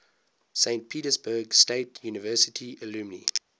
saint petersburg state university alumni